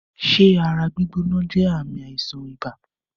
Ṣé ara gbígbóná jé ààmì àìsàn ibà?